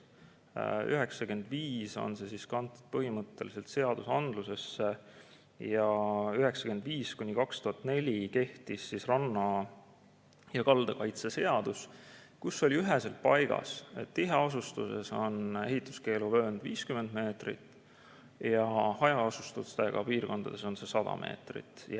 1995 kanti need põhimõtteliselt seadusandlusesse ja 1995–2004 kehtis ranna ja kalda kaitse seadus, kus oli üheselt kirjas, et tiheasustuses on ehituskeelu vöönd 50 meetrit ja hajaasustusega piirkondades 100 meetrit.